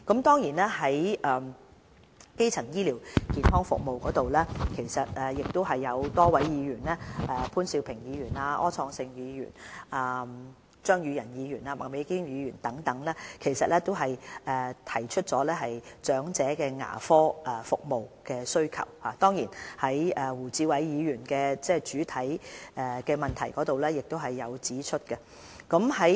在基層醫療健康服務方面，有多位議員，包括潘兆平議員、柯創盛議員、張宇人議員和麥美娟議員等亦提及長者對牙科服務的需求，而胡志偉議員在原議案中亦指出了這方面的需求。